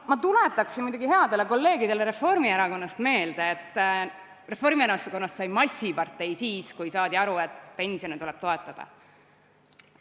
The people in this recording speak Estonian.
Ma tuletaksin headele kolleegidele Reformierakonnast meelde, et Reformierakonnast sai massipartei siis, kui saadi aru, et pensione tuleb toetada.